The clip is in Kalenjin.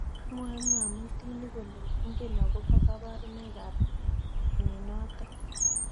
Mwae mngamutik kole ingen akobo kabarunoik ab mnyenotok.